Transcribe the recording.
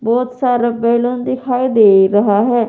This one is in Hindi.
बहुत सारा बैलून दिखाई दे रहा है।